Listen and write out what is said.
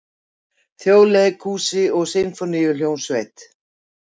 Þjóðleikhúsi og Sinfóníuhljómsveit.